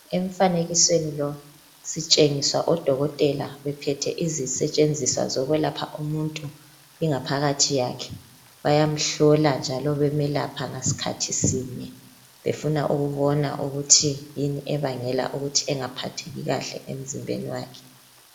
Emfanekisweni lo sitshengiswa odokotela bephethe izikhali zokwelapha ingaphakathi yomuntu. Bayamhlola njalo ɓemelapha ngasikhathi sinye befuna ukubona ukuthi yini ebangela ukungaphatheki kuhle emzimbeni.